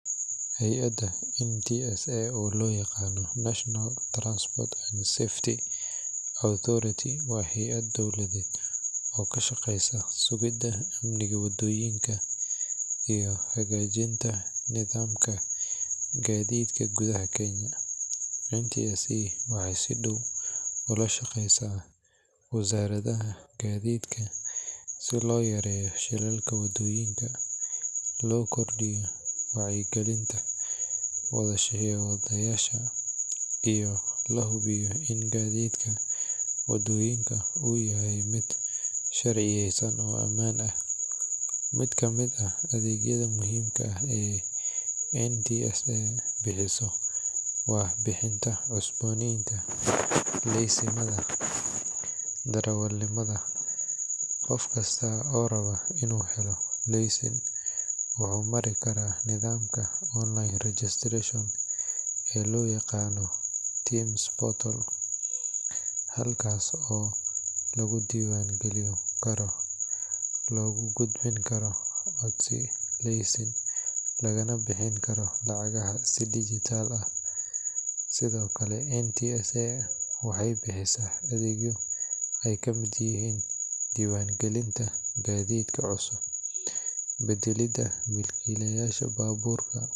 Hay ada waa hayad dowladeed oo ka shaqeesa amnika wadoyinka, waxeey la shaqeesa wazaradaha garida, iyo in lahubiyo in gadiidka uu yahay mid sharciyeysan, qof kasta wuxuu mari karaa nidamka, halkaas oo lagu diiban galin Karo, lagana bixin karo lacagaha, waxeey bixisa doiban galintagadiidka cusub.